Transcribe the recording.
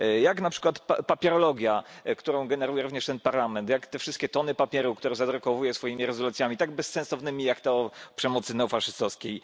jak na przykład papierologia, którą generuje również ten Parlament, jak te wszystkie tony papieru, które zadrukowuje swoimi rezolucjami, tak bezsensownymi, jak ta o przemocy neofaszystowskiej.